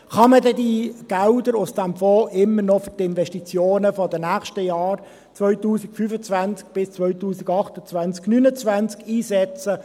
Kann man diese Gelder aus diesem Fonds dann immer noch für die Investitionen der nächsten Jahre, 2025 bis 2028/29, einsetzen?